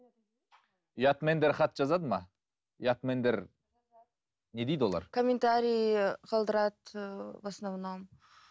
ұятмендер хат жазады ма ұятмендер не дейді олар комментарий қалдырады ыыы в основном